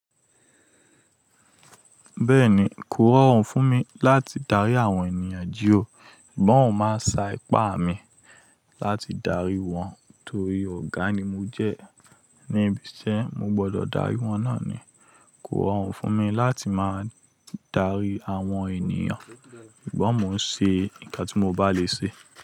Bẹ́ẹ̀ni, kò rọrùn fún mi láti darí àwọn ènìyàn jì o, Ìgbọ́n máa ń sa ipá mi láti darí wọn torí ọ̀gá ni mo jẹ́ ní ibi iṣẹ́, mo gbọdọ̀ darí wọn náà ni. Kò rọrùn fún mi láti máa darí àwọn ènìyàn, ṣugbọ́n mo ń ṣe nǹkan tí mo bá lè ṣe.